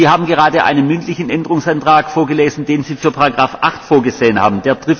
Sie haben gerade einen mündlichen Änderungsantrag vorgelesen, den Sie für Ziffer 8 vorgesehen haben.